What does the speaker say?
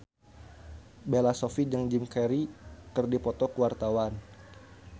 Bella Shofie jeung Jim Carey keur dipoto ku wartawan